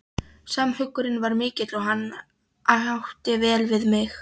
Samhugurinn var mikill og hann átti vel við mig.